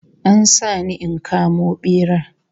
An sa ni in kamo bera